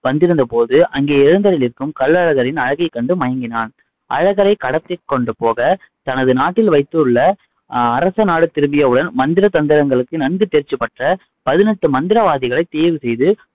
வந்திருந்த போது அங்கே எழுந்தருளி இருக்கும் கள்ளழகரின் அழகைக் கண்டு மயங்கினான். அழகரை கடத்திக்கொண்டு போக தனது நாட்டில் வைத்துள்ள அரசன் நாடு திரும்பிய உடன் மந்திர, தந்திரங்களுக்கு நன்கு தேர்ச்சி பெற்ற பதினெட்டு மந்திரவாதிகளை தேர்வு செய்து